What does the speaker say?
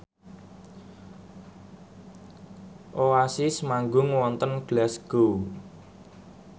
Oasis manggung wonten Glasgow